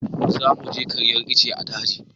za mu je karyar ice a daji